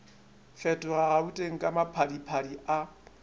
fetoga gauteng ka maphadiphadi a